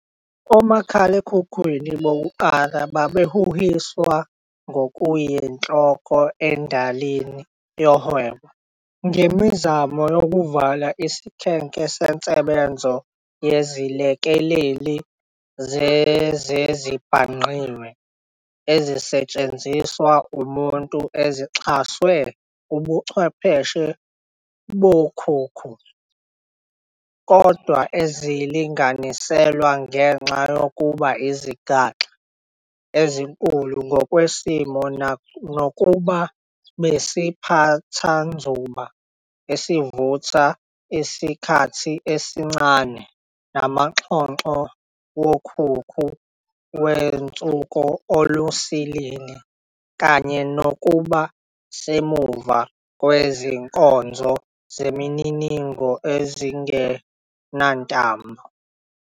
Omakhalipha bokuqala babehuhiswa ngokuyinhloko endayini yohwebo, ngemizamo yokuvala isikhenke sensebenzo yezilekeleli zezezibhangqiwe ezisetshenziswa umuntu ezixhaswe Ubuchwepheshe bokhukhu, kodwa ezilinganiselwe ngenxa yokuba izigaxa ezinkulu ngokwesimo, nokuba besiphathanzuba esivutha isikhathi esincane, namaxhoxho wokhukhu wenzuko alusilili, kanye nokuba semuva kwezinkonzo zemininingo ezingenantambo.